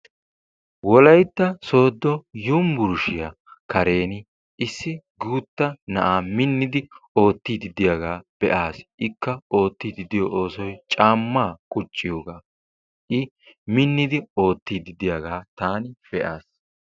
wolaytta soodo yunburshshsiya kareni issi guuta na"aa minidi ootiidi diyaga be'aas, ikka ootiidi diyo oosoy caamaa quciidi minidi ootiiddi diyaga taani be'aaas.